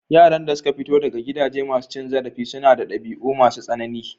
Yaran da suka fito daga gidaje masu cin zarafi sunada ɗabi'u masu tsanani.